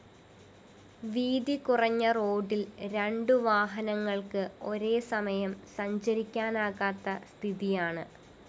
വീതികുറഞ്ഞ റോഡില്‍ രണ്ടുവാഹനങ്ങള്‍ക്ക് ഒരേസമയം സഞ്ചരിക്കാനാകാത്ത സ്ഥിതിയാണ്